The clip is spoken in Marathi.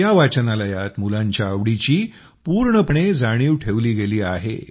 या वाचनालयात मुलांच्या आवडीची पूर्णपणे जाणीव ठेवली गेली आहे